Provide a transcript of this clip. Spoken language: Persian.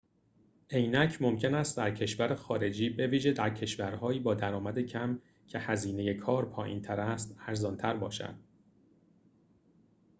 عینک ممکن است در کشور خارجی بویژه در کشورهایی با درآمد کم که هزینه کار پایین‌تر است ارزان‌تر باشد